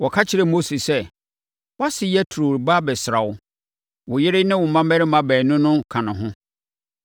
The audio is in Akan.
Wɔka kyerɛɛ Mose sɛ, “Wʼase Yetro reba abɛsra wo. Wo yere ne wo mmammarima baanu no ka ne ho.”